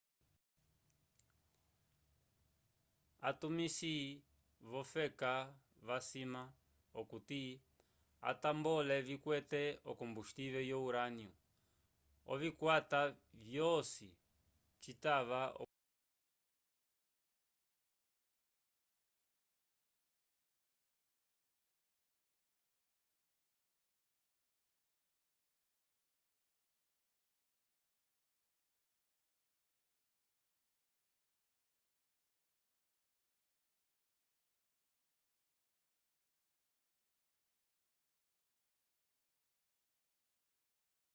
atumisi v'ofeka vasima okuti atambole vikwete okombustivel yo urânio ovikwata vyaco citava okuti vikwete epangu kwenda vikasi l'okupitisa